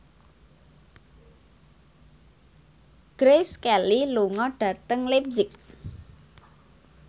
Grace Kelly lunga dhateng leipzig